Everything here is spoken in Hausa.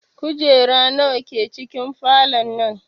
Kujeru nawa ke cikin falon nan?